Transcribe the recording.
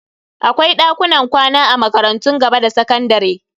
Akwai dakunan kwana a makarantun gaba da sakandare.